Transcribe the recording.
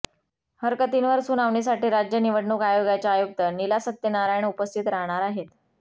हरकतींवर सुनावणीसाठी राज्य निवडणूक आयोगाच्या आयुक्त नीला सत्यनारायण उपस्थित राहणार आहेत